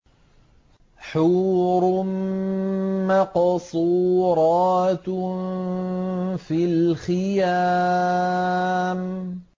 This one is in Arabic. حُورٌ مَّقْصُورَاتٌ فِي الْخِيَامِ